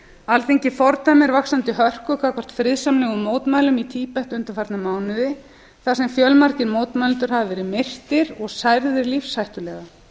alþingi fordæmir vaxandi hörku gagnvart friðsamlegum mótmælum í tíbet undanfarna mánuði þar sem fjölmargir mótmælendur hafa verið myrtir og særðir lífshættulega